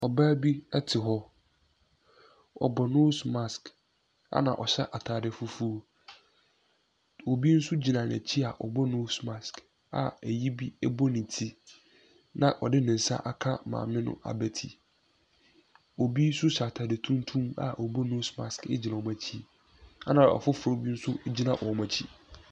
Ɔbaa bi te hɔ. Ɔbɔ nose mask, ɛna ɔhyɛ atade fufuo. Obi nso gyina n'akyi a bɔ nose mask a ayi bi bɔ ne ti, na ɔde ne nsa aka maame no abati. Obi nso hyɛ atade tuntum a ɔbɔ nose mask gyina wɔn akyi, ɛna ɔfofoɔ bi nso gyina wɔn akyi.